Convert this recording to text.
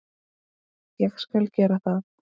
Ég skal gera það.